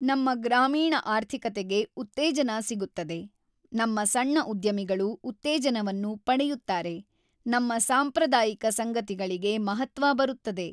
ನಮ್ಮ ಗ್ರಾಮೀಣ ಆರ್ಥಿಕತೆಗೆ ಉತ್ತೇಜನ ಸಿಗುತ್ತದೆ ನಮ್ಮ ಸಣ್ಣ ಉದ್ಯಮಿಗಳು ಉತ್ತೇಜನವನ್ನು ಪಡೆಯುತ್ತಾರೆ ನಮ್ಮ ಸಾಂಪ್ರದಾಯಿಕ ಸಂಗತಿಗಳಿಗೆ ಮಹತ್ವ ಬರುತ್ತದೆ.